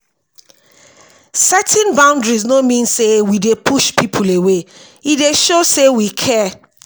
setting boundaries no mean say we dey push people away; e dey show sey we care.